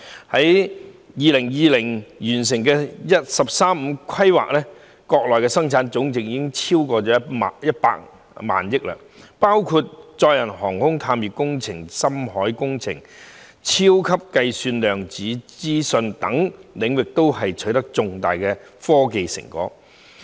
到了2020年完成"十三五"規劃後，國內生產總值已超過100萬億元，國家在載人航天、探月工程、深海工程、超級計算、量子資訊等領域均取得重大科技成果。